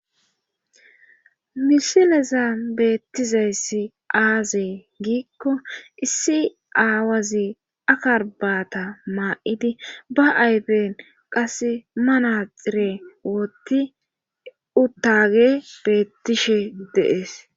Misileza beettizayssi aazee giikko issi aawazi akarbaata maa7idi ba ayfen qas manaxire wotti uttage beettishe deees.